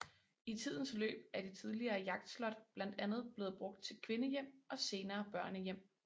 I tidens løb er det tidligere jagtslot blandt andet blevet brugt til kvindehjem og senere børnehjem